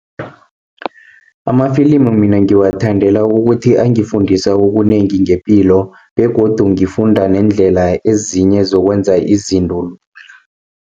Amafilimu mina ngiwathandela ukuthi angifundisa okunengi ngepilo begodu ngifunda neendlela ezinye zokwenza izinto lula.